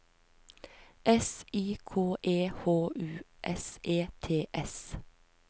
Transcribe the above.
S Y K E H U S E T S